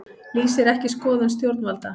Lýsir ekki skoðun stjórnvalda